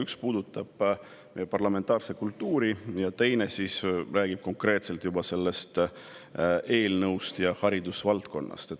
Üks puudutab meie parlamentaarset kultuuri ning teine konkreetselt seda eelnõu ja haridusvaldkonda.